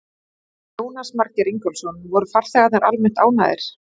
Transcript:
Jónas Margeir Ingólfsson: Voru farþegar almennt ánægðir?